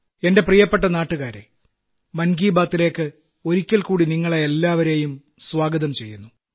എന്റെ പ്രിയപ്പെട്ട നാട്ടുകാരേ മൻ കീ ബാത്തിലേയ്ക്ക് ഒരിക്കൽക്കൂടി നിങ്ങളെ എല്ലാവരേയും സ്വാഗതം ചെയ്യുന്നു